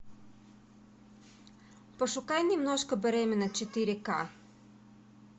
пошукай немножко беременна четыре ка